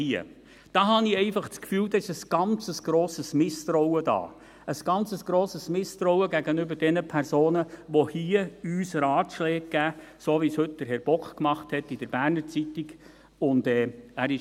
Hier habe ich das Gefühl, sei ein grosses Misstrauen vorhanden, ein grosses Misstrauen gegenüber den Personen, die uns hier Ratschläge geben, so, wie es Herr Bock heute in der «Berner Zeitung (BZ)» getan hat.